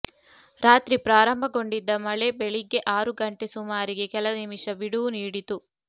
ರಾತ್ರಿ ಪ್ರಾರಂಭಗೊಂಡಿದ್ದ ಮಳೆ ಬೆಳಿಗ್ಗೆ ಆರು ಗಂಟೆ ಸುಮಾರಿಗೆ ಕೆಲ ನಿಮಿಷ ಬಿಡುವು ನೀಡಿತು